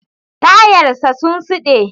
Tayar sa sun siɗa.